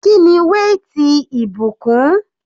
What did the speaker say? Kíni weight ìbùkún?